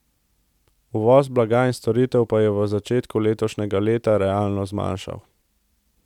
Uvoz blaga in storitev pa se je v začetku letošnjega leta realno zmanjšal.